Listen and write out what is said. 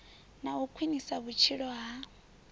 na u khwinisa vhutshilo ha